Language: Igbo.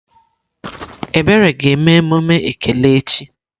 Ebere ga eme emume ekele echi.